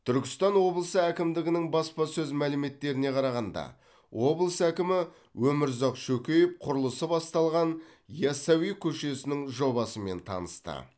түркістан облысы әкімдігінің баспасөз мәліметтеріне қарағанда облыс әкімі өмірзақ шөкеев құрылысы басталған ясауи көшесінің жобасымен танысты